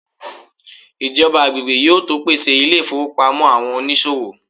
ijoba agbegbe yíò to pèsè ilé ifowópamọ́ àwọn onísòwò